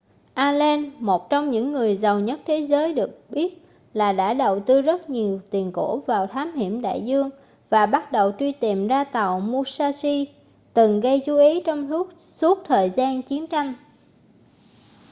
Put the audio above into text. allen một trong những người giàu nhất thế giới được biết là đã đầu tư rất nhiều tiền của vào thám hiểm đại dương và bắt đầu truy tìm ra tàu musashi từng gây chú ý trong suốt thời gian chiến tranh